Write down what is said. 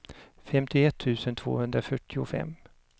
femtioett tusen tvåhundrafyrtiofem